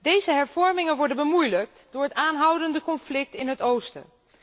Deze hervormingen worden bemoeilijkt door het aanhoudende conflict in het oosten.